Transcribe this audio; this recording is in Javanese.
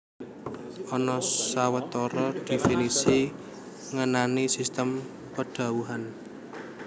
Ana sawetara dhéfinisi ngenani sistem padhawuhan